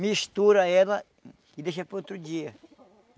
mistura ela e deixa para outro dia.